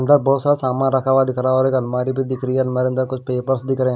बहुत सारा सामान रखा हुआ दिख रहा है और एक अलमारी भी दिख रही है अंदर अंदर कुछ पेपर्स भी दिख रहा है।